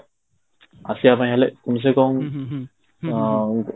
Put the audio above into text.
ଆସିବା ପାଇଁ ହେଲେ କମ ସେ କମ ଅ